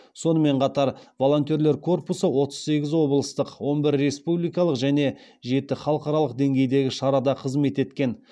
сонымен қатар волонтерлер корпусы отыз сегіз облыстық он бір республикалық және жеті халықаралық деңгейдегі шарада қызмет еткен